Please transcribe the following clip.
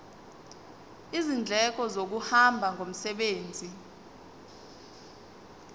izindleko zokuhamba ngomsebenzi